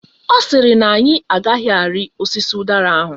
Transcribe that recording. Ọ sịrị na anyị agaghị arị osisi ụdara ahụ.